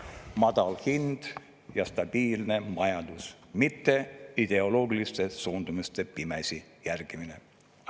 … madal hind ja stabiilne majandus, mitte ideoloogiliste suundumuste pimesi järgimine.